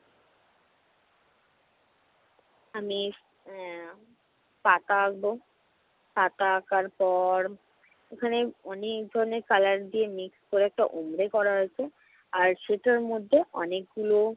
আমি আহ পাতা আঁকবো। পাতা আঁকার পর এখানে অনেক ধরনের color দিয়ে mix করে একটা উমরে করা রয়েছে। আর সেটার মধ্যে অনেকগুলো